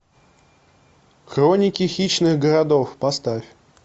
хроники хищных городов поставь